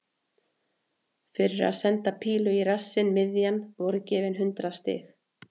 Fyrir að senda pílu í rassinn miðjan voru gefin hundrað stig.